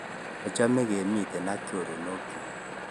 Achame kemitei ak choronokchuk